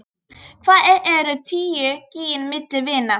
Hvað eru tíu gin milli vina.